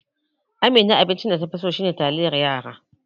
Amina tace abincin da ta fi so a gida shine taliyar yara.